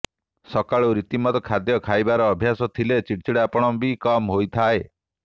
ସକାଳୁ ରୀତିମତ ଖାଦ୍ୟ ଖାଇବାର ଅଭ୍ୟାସ ଥିଲେ ଚିଡ଼ିଚିଡ଼ା ପଣ ବି କମ୍ ହୋଇଥାଏ